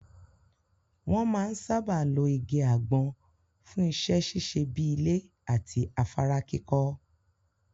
Wọn máa ń sáábà lo igi àgbọn fún iṣẹ́ ṣíṣe bíi ilé àti afárá kíkọ́.